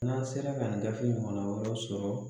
N'an sera ka nin gafe in ɲɔgɔnna wɛrɛ sɔrɔ